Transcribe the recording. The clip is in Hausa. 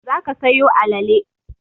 Za ka sayo alale!